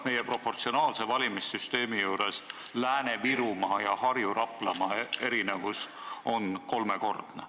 Meil on proportsionaalne valimissüsteem, aga Lääne-Virumaa ning Harju- ja Raplamaa erinevus on kolmekordne.